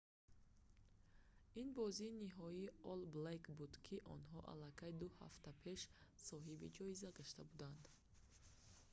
ин бозии ниҳоии олл блэкс буд ки онҳо аллакай ду ҳафта пеш соҳиби ҷоиза гашта буданд